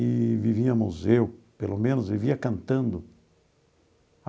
E vivíamos, eu pelo menos, vivia cantando.